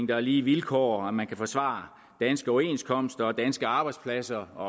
der er lige vilkår og at man kan forsvare danske overenskomster danske arbejdspladser og